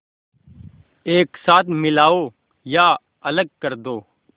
एक साथ मिलाओ या अलग कर दो